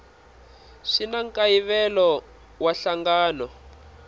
swi na nkayivelo wa nhlangano